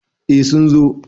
eh sun zo